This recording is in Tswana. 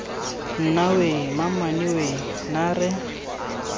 nna weee mamame weee naare